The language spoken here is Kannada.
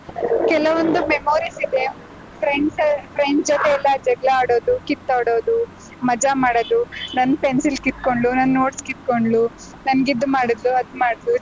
ಕೆಲವೊಂದು memories ಇದೆ friends friend ಜೊತೆಯೆಲ್ಲಾ ಜಗ್ಳ ಆಡೋದು, ಕಿತ್ತಾಡೋದು, ಮಜಾ ಮಾಡದು, ನನ್ pencil ಕಿತ್ಕೊಂಡ್ಳು, ನನ್ notes ಕಿತ್ಕೊಂಡ್ಳು, ನಂಗ್ ಇದ್ ಮಾಡುದ್ಲು, ಅದ್ ಮಾಡ್ದ್ಲು.